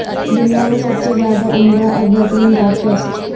دنیا میں سب سے زیادہ عمدہ اور بہترین گٹارسٹسٹ